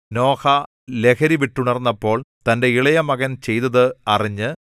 നോഹ ലഹരിവിട്ടുണർന്നപ്പോൾ തന്റെ ഇളയമകൻ ചെയ്തത് അറിഞ്ഞ്